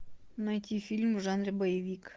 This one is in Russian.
найти фильм в жанре боевик